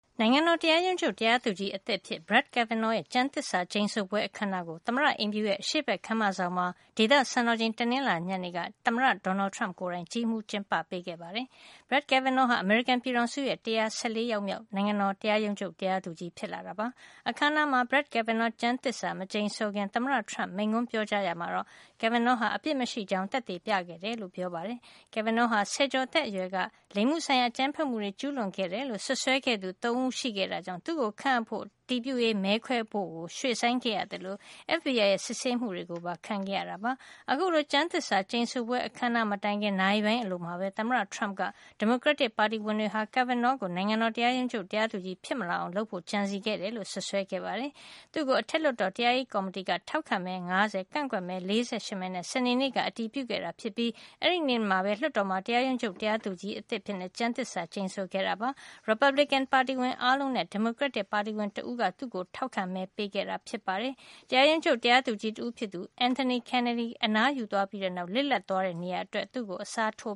နိုင်ငံတော် တရားရုံးချုပ် တရားသူကြီးအသစ်အဖြစ် Brett Kavanaugh ရဲ့ ကျမ်းသစ္စာ ကျိန်ဆိုပွဲ အခမ်းအနားကို သမ္မတအိမ်ဖြူတော်ရဲ့ အရှေ့ဘက် ခန်းမဆောင်မှာ ဒေသစံတော်ချိန် တနင်္လာနေ့ ညနေက သမ္မတ Donald Trump ကိုယ်တိုင် ကြီးမှူးကျင်းပခဲ့ပါတယ်။ Brett Kavanaugh ဟာ အမေရိကန်ပြည်ထောင်စုရဲ့ ၁၁၄ ယောက်မြောက် နိုင်ငံတော် တရားရုံးချုပ် တရားသူကြီး ဖြစ်ပါတယ်။ အခမ်းအနားမှာ Brett Kavanaugh ကျမ်းသစ္စာ မကျိန်ဆိုခင် သမ္မတ Trump က မိန့်ခွန်းပြောကြားရာမှာတော့ Kavanaugh ဟာ အပြစ်မရှိကြောင်း သက်သေပြခဲ့တယ်လို့ ပြောပါတယ်။ Kavanaugh ဟာ ဆယ်ကျော်သက်အရွယ်က လိင်မှုဆိုင်ရာ အကြမ်းဖက်မှုတွေ ကျူးလွန်ခဲ့တယ်လို့ စွပ်စွဲခဲ့သူ ၃ ဦးရှိခဲ့တာကြောင့် သူ့အတွက် အတည်ပြုရေး မဲခွဲဖို့ ရွှေ့ဆိုင်းခဲ့ရသလို FBI ရဲ့ စစ်ဆေးမှုတွေကိုပါ ခံခဲ့ရတာပါ။ အခုလို ကျမ်းသစ္စာ ကျိန်ဆိုပွဲ အခမ်းအနား မတိုင်ခင်နာရီပိုင်းအလိုမှာပဲ သမ္မတ Trump က ဒီမိုကရက်တစ် ပါတီဝင်တွေဟာ Kavanaugh ကို နိုင်ငံတော် တရားရုံးချုပ် တရားသူကြီး ဖြစ်မလာအောင် လုပ်ဖို့ ကြံစည်ခဲ့တယ်လို့ စွပ်စွဲခဲ့ပါတယ်။ Brett Kavanaugh ကို အထက်လွှတ်တော် တရားရေးကော်မတီက ထောက်ခံမဲ ၅၀ ကန့်ကွက်မဲ ၄၈ မဲနဲ့ စနေနေ့က အတည်ပြုခဲ့တာ ဖြစ်ပြီး အဲဒီနေ့မှာပဲ လွှတ်တော်မှာ တရားရုံးချုပ် တရားသူကြီးအသစ်အဖြစ် ကျမ်းသစ္စာ ကျိန်ဆိုခဲ့တာပါ။ ရီပတ်ပလီကန်ပါတင်ဝင်အားလုံးနဲ့ ဒီမိုကရက်တစ်ပါတီဝင်တဦးက သူ့ကိုထောက်ခံမဲပေးခဲ့တာဖြစ်ပါတယ်။ တရားရုံးချုပ် တရားသူကြီးတဦးဖြစ်သူ Anthony Kennedy အနားယူသွားပြီးတဲ့နောက် လစ်လပ်သွားတဲ့နေရာအတွက် Brett Kavanugh ကို အစားထို